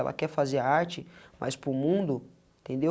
Ela quer fazer a arte, mas para o mundo, entendeu?